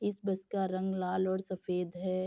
इस बस का रंग लाल और सफेद है।